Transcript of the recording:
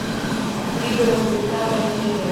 пригород тридцатая серия